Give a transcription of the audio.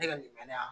Ne ka nin bɛ yan